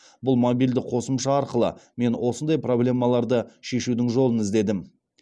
бұл мобильді қосымша арқылы мен осындай проблемаларды шешудің жолын іздедім